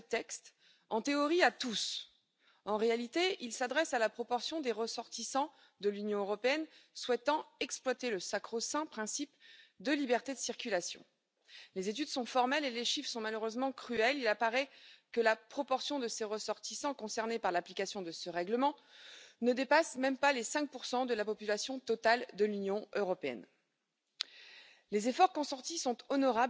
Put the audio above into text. Digitalizarea este un alt obiectiv al Comisiei. Portalul rezolvă această problemă și trebuie să spunem că ne dorim de foarte mult timp să existe acel principiu o singură dată. Ar face foarte multe economii și la cetățean, și la întreprinderi, dar sigur că aceste economii până la urmă merg la bugetele statelor, merg la bugetul Uniunii Europene. Trebuie să spunem,